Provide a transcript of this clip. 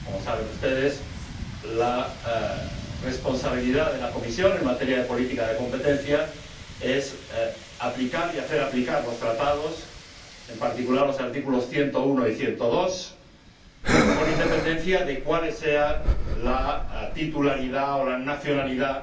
Como saben ustedes, la responsabilidad de la Comisión en materia de política de competencia es aplicar y hacer aplicar los Tratados, en particular los artículos 101 y 102, con independencia de cuál sea la titularidad, la nacionalidad